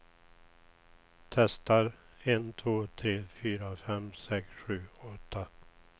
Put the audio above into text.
Testar en två tre fyra fem sex sju åtta.